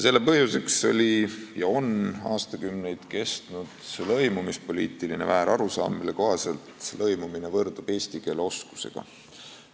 " Selle põhjuseks oli ja on aastakümneid kestnud lõimumispoliitiline väärarusaam, mille kohaselt lõimumine võrdub eesti keele oskusega.